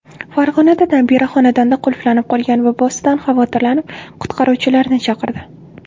Farg‘onada nabira xonadonda qulflanib qolgan bobosidan xavotirlanib, qutqaruvchilarni chaqirdi.